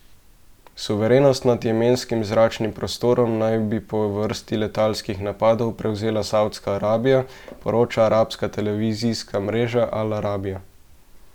Suverenost nad jemenskim zračnim prostorom naj bi po vrsti letalskih napadov prevzela Savdska Arabija, poroča arabska televizijska mreža Al Arabija.